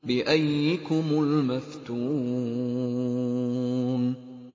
بِأَييِّكُمُ الْمَفْتُونُ